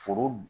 Foro